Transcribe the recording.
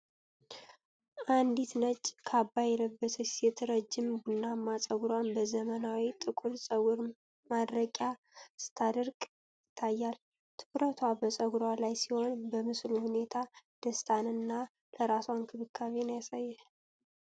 አንዲት ነጭ ካባ የለበሰች ሴት ረጅም ቡናማ ፀጉሯን በዘመናዊ ጥቁር ፀጉር ማድረቂያ ስታደርቅ ይታያል። ትኩረቷ በፀጉሯ ላይ ሲሆን፣ የምስሉ ሁኔታ ደስታን እና ለራሷ እንክብካቤን ያሳያል።